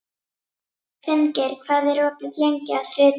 Finngeir, hvað er opið lengi á þriðjudaginn?